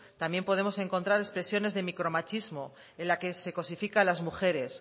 también podemos encontrar expresiones de micromachismo en la que se cosifica a las mujeres